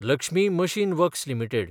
Lakshmi machine works limited